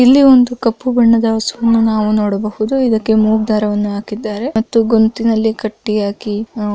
ಇಲ್ಲಿ ಒಂದು ಕಪ್ಪು ಬಣ್ಣದ ಹಸುವನ್ನು ನಾವು ನೋಡಬಹುದು ಇದಕ್ಕೆ ಮೂಗು ದಾರವನ್ನು ಹಾಕಿದ್ದಾರೆ ಮತ್ತು ಗೊಂತಿನಲ್ಲಿ ಕಟ್ಟಿ ಹಾಕಿ ನಾವು --